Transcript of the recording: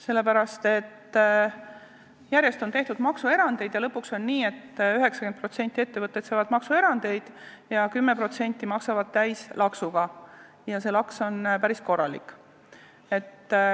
Sellepärast, et järjest on tehtud maksuerandeid ja lõpuks on nii, et 90% ettevõtteid saavad kasutada maksuerandeid, aga 10% maksavad täislaksuga ja see laks on päris korralik.